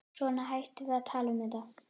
Svona, hættum að tala um þetta.